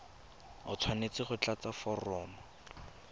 o tshwanetse go tlatsa foromo